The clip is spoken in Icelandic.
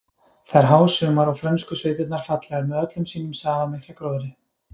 Það er hásumar og frönsku sveitirnar fallegar með öllum sínum safamikla gróðri.